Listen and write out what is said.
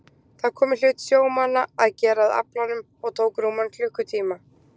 Það kom í hlut sjómannanna að gera að aflanum og tók rúman klukkutíma.